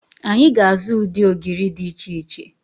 Anyị ga-azụ ụdị ogiri dị iche iche.